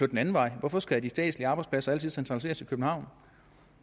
den anden vej hvorfor skal de statslige arbejdspladser altid centraliseres i københavn